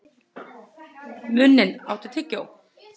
Muninn, áttu tyggjó?